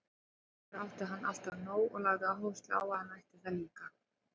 Sjálfur átti hann alltaf nóg og lagði áherslu á að ég ætti það líka.